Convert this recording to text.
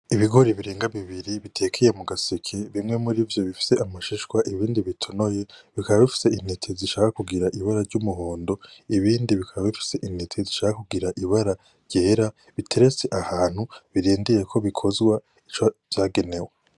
Ibigori birenga bibiri bitekeye mu gaseke bimwe muri vyo bifise amashishwa ibindi bitonoye bikaba bifise intete zishaka kugira ibara ry'umuhondo , ibindi bikaba bifise intete zishaka kugira ibara ryera biteretse ahantu birindiriye ko bikozwa ico vyagenewe.